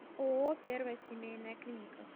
ооо первая семейная клиника